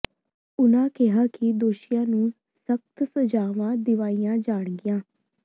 ਉਨ੍ਹਾਂ ਕਿਹਾ ਕਿ ਦੋਸ਼ੀਆਂ ਨੂੰ ਸਖ਼ਤ ਸਜ਼ਾਵਾਂ ਦਿਵਾਈਆਂ ਜਾਣਗੀਆਂ